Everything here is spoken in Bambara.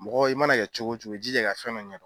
Mɔgɔ i mana kɛ cogo cogo i jija ka fɛn dɔ ɲɛ dɔn